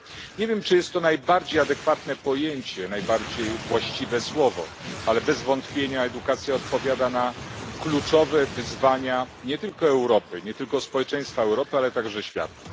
Nie wiem, czy jest to najbardziej adekwatne pojęcie, najbardziej właściwe słowo, ale bez wątpienia edukacja odpowiada na kluczowe wyzwania, nie tylko Europy, nie tylko społeczeństwa Europy, ale także świata.